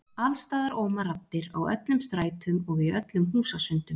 Alls staðar óma raddir, á öllum strætum og í öllum húsasundum.